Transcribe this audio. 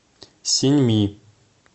синьми